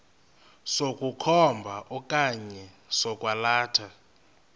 sokukhomba okanye sokwalatha